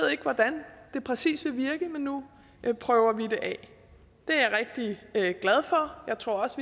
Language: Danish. hvordan det præcis vil virke men nu prøver vi det af det er glad for jeg tror også